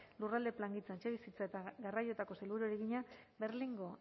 lurralde plangintza etxebizitza eta garraioetako sailburuari egina berlingo